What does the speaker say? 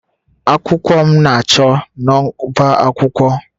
Akwụkwọ m na-achọ n'ọbá akwụkwọ.